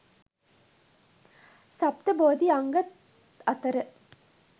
සප්ත බෝධි අංග අතර